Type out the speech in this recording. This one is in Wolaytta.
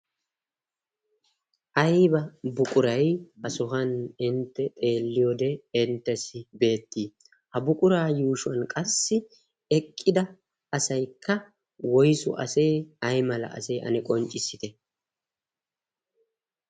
ayba buquray ha sohan intte xeelliyoode inttessi beettii? ha buquraa yuushuwan qassi eqqida asaykka woysu asee? ay mala asee? ane qonccissite?